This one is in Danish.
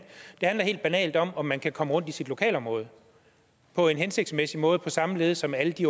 det handler helt banalt om om man kan komme rundt i sit lokalområde på en hensigtsmæssig måde og på samme led som alle de